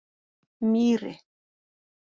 Mýri